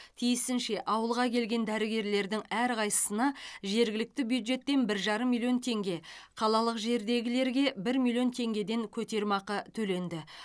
тиісінше ауылға келген дәрігерлердің әрқайсысына жергілікті бюджеттен бір жарым миллион теңге қалалық жердегілерге бір миллион теңгеден көтерме ақы төленді